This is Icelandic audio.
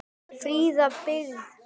Fríða byggð.